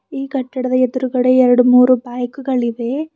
ಈ ಕಟ್ಟಡದ ಎದ್ರುಗಡೆ ಎರಡ್ ಮೂರು ಬೈಕುಗಳಿವೆ.